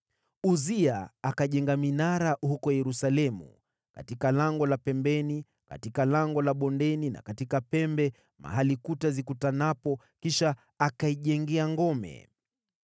Uzia akajenga minara huko Yerusalemu katika Lango la Pembeni, katika Lango la Bondeni na katika pembe, mahali kuta zikutanapo, kisha akaijengea ngome.